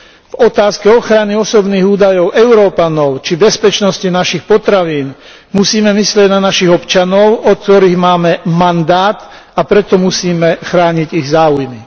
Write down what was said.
V otázke ochrany osobných údajov Európanov či bezpečnosti našich potravín musíme myslieť na našich občanov, od ktorých máme mandát, a preto musíme chrániť ich záujmy.